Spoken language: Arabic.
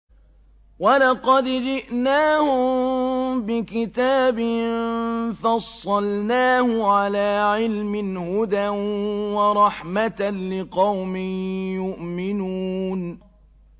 وَلَقَدْ جِئْنَاهُم بِكِتَابٍ فَصَّلْنَاهُ عَلَىٰ عِلْمٍ هُدًى وَرَحْمَةً لِّقَوْمٍ يُؤْمِنُونَ